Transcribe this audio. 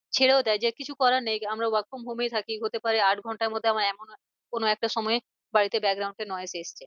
ছেড়েও দেয় যে কিছু করার নেই আমরা work from home এই থাকি হতে পারে আট ঘন্টার মধ্যে আমার এমন কোনো একটা সময়ে বাড়িতে এ এসছে।